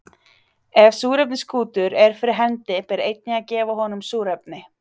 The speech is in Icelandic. Ef súrefniskútur er fyrir hendi ber einnig að gefa honum súrefni.